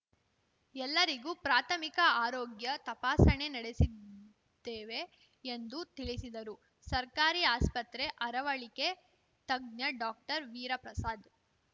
ಎಲ್ಲರಿಗೂ ಪ್ರಾಥಮಿಕ ಆರೋಗ್ಯ ತಪಾಸಣೆ ನಡೆಸಿದ್ದೇವೆ ಎಂದು ತಿಳಿಸಿದರು ಸರ್ಕಾರಿ ಆಸ್ಪತ್ರೆ ಅರವಳಿಕೆ ತಜ್ಞ ಡಾಕ್ಟರ್ವೀರಪ್ರಸಾದ್‌